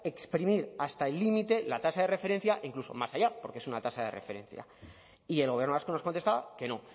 exprimir hasta el límite la tasa de referencia incluso más allá porque es una tasa de referencia y el gobierno vasco nos contestaba que no